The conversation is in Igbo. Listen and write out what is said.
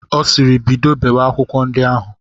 Ọ sịịrị, bido bewe akwụkwọ ndi ahụ!